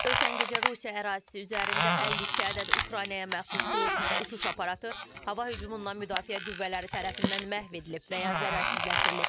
Ötən gecə Rusiya ərazisi üzərində 52 ədəd Ukraynaya məxsus pilotsuz uçuş aparatı hava hücumundan müdafiə qüvvələri tərəfindən məhv edilib və ya zərərsizləşdirilib.